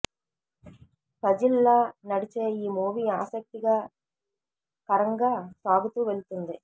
puzzle లా నడిచే ఈ మూవీ ఆసక్తిగా కరంగా సాగుతూ వెళుతుంది